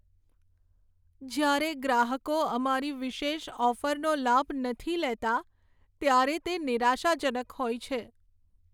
જ્યારે ગ્રાહકો અમારી વિશેષ ઓફરનો લાભ નથી લેતા, ત્યારે તે નિરાશાજનક હોય છે.